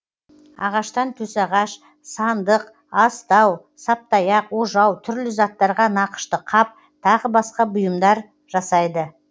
ағаштан төсағаш сындық астау саптаяқ ожау түрлі заттарға нақышты қап тағы басқа бұйымдар жасайды